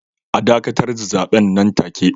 A dakatar da zaben nan take